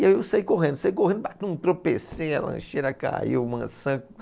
E aí eu saí correndo, saí correndo, ba tropecei, a lancheira caiu, maçã